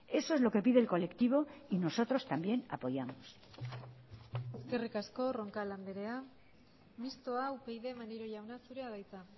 eso es lo que pide el colectivo y nosotros también apoyamos eskerrik asko roncal andrea mistoa upyd maneiro jauna zurea da hitza